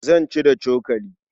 Zan ci da cokali.